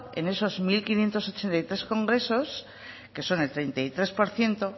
en esos mil quinientos ochenta y tres congresos que son el treinta y tres por ciento